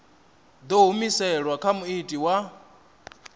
ḓo humiselwa kha muiti wa